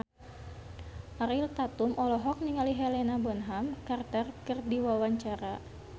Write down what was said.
Ariel Tatum olohok ningali Helena Bonham Carter keur diwawancara